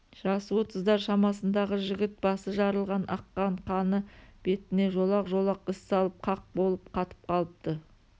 жасы отыздар шамасындағы жігіт басы жарылған аққан қаны бетіне жолақ-жолақ із салып қақ болып қатып қалыпты